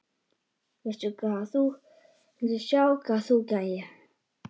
VILTU SJÁ HVAÐ ÞÚ GERÐIR!